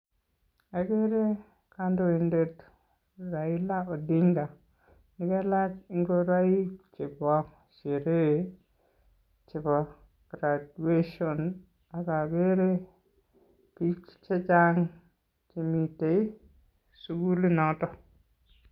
Okere kandoindet Raila Odinga nekalach ngoroik chebo sherehe chebo graduation ak okere bik chechang' chemiten sukulinoton.